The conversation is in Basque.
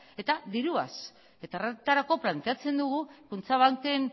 eta diruaz eta horretarako planteatzen dugu kutxabanken